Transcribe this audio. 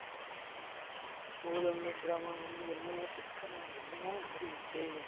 அப்போது அந்த பிராமணன் வந்து என்னவோ கேட்க நான் என்னமோ உளறி விட்டேன்